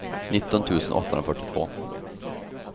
nitton tusen åttahundrafyrtiotvå